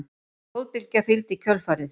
Flóðbylgja fylgdi í kjölfarið